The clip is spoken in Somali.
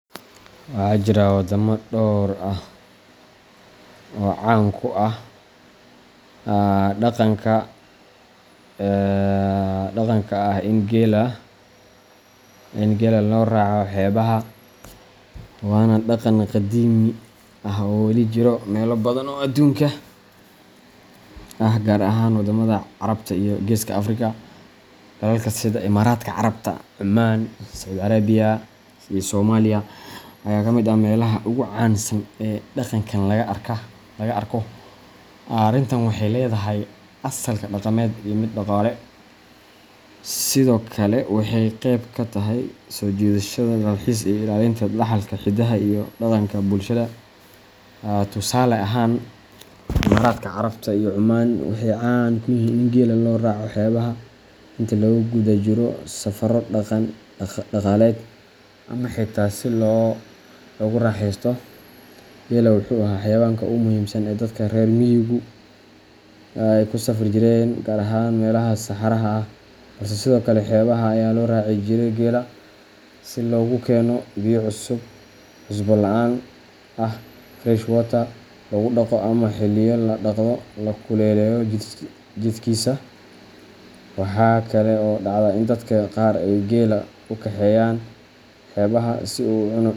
Waxaa jira waddamo dhowr ah oo caan ku ah dhaqanka ah in geela loo raaco xeebaha, waana dhaqan qadiimi ah oo weli ka jira meelo badan oo adduunka ah, gaar ahaan wadamada Carabta iyo Geeska Afrika. Dalalka sida Imaaraadka Carabta, Cumaan, Sacuudi Carabiya, iyo Soomaaliya ayaa kamid ah meelaha ugu caansan ee dhaqankan laga arko. Arrintan waxay leedahay asalka dhaqameed iyo mid dhaqaale, sidoo kalena waxay qeyb ka tahay soo jiidashada dalxiiska iyo ilaalinta dhaxalka hidaha iyo dhaqanka bulshada. Tusaale ahaan, Imaaraadka Carabta iyo Cumaan waxay caan ku yihiin in geela loo raaco xeebaha inta lagu guda jiro safarro dhaqan-dhaqaaleed ama xitaa si loogu raaxeysto. Geelu wuxuu ahaa xayawaanka ugu muhiimsan ee ay dadka reer miyigu ku safri jireen, gaar ahaan meelaha saxaraha ah, balse sidoo kale xeebaha ayaa loo raaci jiray geela si loogu keeno biyo cusbo la'aan ah fresh water, loogu dhaqo, ama xilliyo la dhaqdo oo la kululeeyo jidhkiisa. Waxaa kale oo dhacda in dadka qaar ay geela u kaxeeyaan xeebaha si uu u cuno.